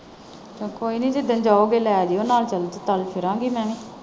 ਚੱਲ ਕੋਈ ਨੀ ਜਿੱਦਣ ਜਾਓਗੇ ਲੈ ਜਾਓ ਨਾਲ ਚੱਲ ਫਿਰਾਂਗੀ ਮੈਂ ਵੀ।